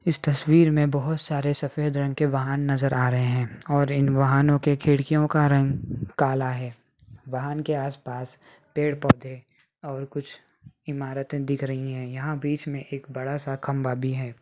इस तस्वीर में बहुत सारे सफेद रंग के वाहन नज़र आ रहे हैं और इन वाहनों के खिड़कियों का रंग काला है | वाहन के आसपास पेड़-पौधे और कुछ इमारतें दिख रही हैं | यहाँ बीच में एक बड़ा सा खम्बा भी है।